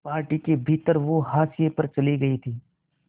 party के भीतर वो हाशिए पर चले गए थे